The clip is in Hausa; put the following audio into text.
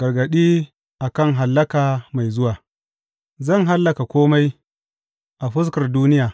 Gargaɗi a kan hallaka mai zuwa Zan hallaka kome a fuskar duniya,